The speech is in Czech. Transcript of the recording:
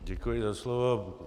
Děkuji za slovo.